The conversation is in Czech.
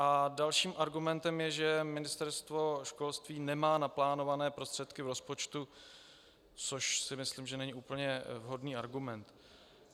A dalším argumentem je, že Ministerstvo školství nemá naplánované prostředky v rozpočtu, což si myslím, že není úplně vhodný argument.